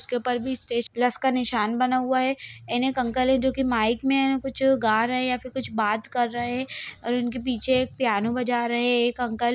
उसके ऊपर भी एक स्टेज प्लस का निशान बना हुआ है एक अंकल है जो की माइक में कुछ गा रहे है या फिर कुछ बात कर रहे है और उनके पीछे पियानो बज रहे एक अंकल --